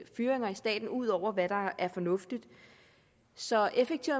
fyringer i staten ud over hvad der er fornuftigt så effektiv